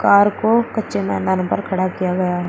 car को कच्चे मैदान पर खड़ा किया गया--